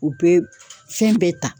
O be fɛn bɛɛ ta